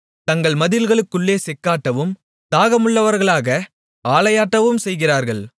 தங்கள் மதில்களுக்குள்ளே செக்காட்டவும் தாகமுள்ளவர்களாக ஆலையாட்டவும் செய்கிறார்கள்